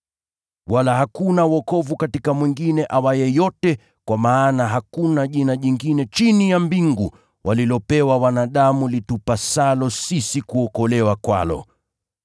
Wala hakuna wokovu katika mwingine awaye yote, kwa maana hakuna jina jingine chini ya mbingu walilopewa wanadamu litupasalo sisi kuokolewa kwalo.”